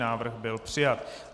Návrh byl přijat.